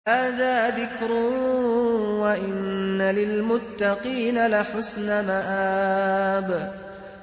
هَٰذَا ذِكْرٌ ۚ وَإِنَّ لِلْمُتَّقِينَ لَحُسْنَ مَآبٍ